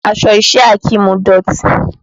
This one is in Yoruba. Aṣọ iṣẹ́ Akeem dọ̀tí